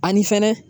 Ani fɛnɛ